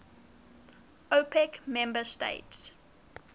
opec member states